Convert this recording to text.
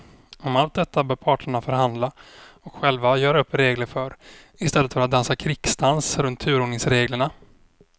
Om allt detta bör parterna förhandla och själva göra upp regler för i stället för att dansa krigsdans runt turordningsreglerna.